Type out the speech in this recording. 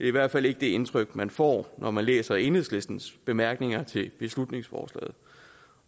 i hvert fald ikke det indtryk man får når man læser enhedslistens bemærkninger til beslutningsforslaget og